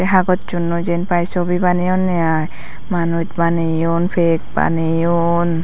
ai hagochunoi jenpai sobi baneyone ai manus baneyon pek baneyon.